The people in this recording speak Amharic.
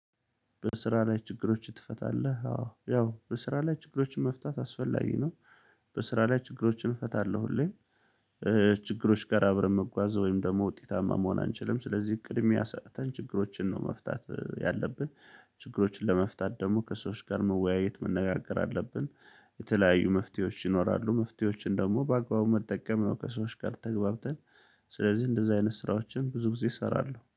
በስራ ላይ ችግሮችን ትፈታለህ? አዎ ያው በስራ ላይ ችግሮችን መፍታት አስፈላጊ ነው። በስራ ላይ ችግሮችን እፈታለሁ ሁሌም። ችግሮች ጋር አብረን መጓዝ ወይም ደግሞ ውጤታማ መሆን አንችልም ስለዚህ ቅድሚያ ሰጠን ችግሮችን ነው መፍታት ያለብን። ችግሮችን ለመፍታት ደግሞ ከሰዎች ጋር መወያየት መነጋገር አለብን። የተለያዩ መፍትሄዎች ይኖራሉ መፍትሄዎችን ደግሞ በአግባቡ መጠቀም ከሰዎች ጋር ተግባብተን ስለዚህ እንደዚህ አይነት ስራዎችን ብዙ ጊዜ እሰራለሁ